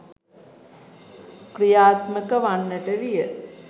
ක්‍රියාත්මක වන්නට විය.